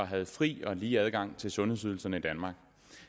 havde fri og lige adgang til sundhedsydelserne i danmark